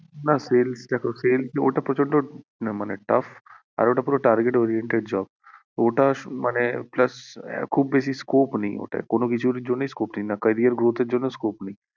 না sales দেখো sales ওটা প্রচন্ড মানে tough আর ওটা পুরো target oriented job ওটা মানে plus খুব বেশি scope নেই ওতে কোনো কিছুর জন্য scope নেই career growth এর জন্য scope নেই